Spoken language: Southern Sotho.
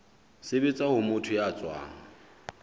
sebetsa ho motho ya tswang